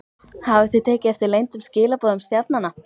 Hafið þið tekið eftir leyndum skilaboðum stjarnanna?